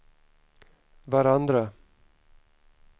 varandra